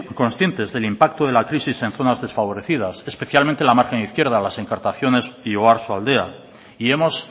conscientes del impacto de la crisis en zonas desfavorecidas especialmente en la margen izquierda las encartaciones y oarsoaldea y hemos